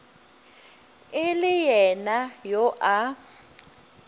e le yena yo a